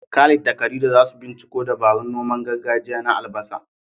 Khalid da Khadija za su binciko dabarun noman gargajiya na albasa.